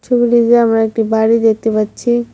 ছবিটিতে আমরা একটি বাড়ি দেখতে পাচ্ছি।